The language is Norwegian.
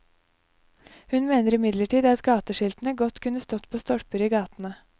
Hun mener imidlertid at gateskiltene godt kunne stått på stolper i gatene.